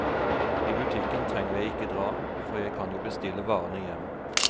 I butikken trenger jeg ikke dra, for jeg kan jo bestille varene hjem.